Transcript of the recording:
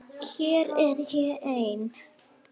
Hér er ég ein.